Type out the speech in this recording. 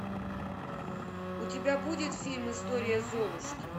у тебя будет фильм история золушки